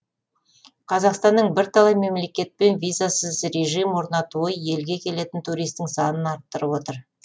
қазақстанның бірталай мемлекетпен визасыз режим орнатуы елге келетін туристің санын арттырып отыр